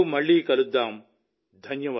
త్వరలో మళ్లీ కలుద్దాం